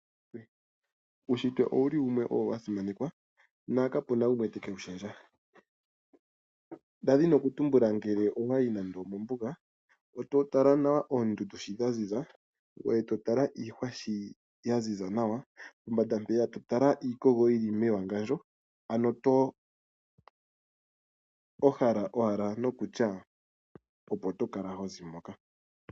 Uushitwe owa simanekwa nokapu na gulwe teke wu lundulula. Ngele owa yi nande omombuga e to tala nawa oondundu sho dha ziza, ngoye to tala iihwa shi ya ziza nawa, pombanda to tala iikogo shi yi li mewangandjo, ano oto hala owala nokutya opo to kala ho zi.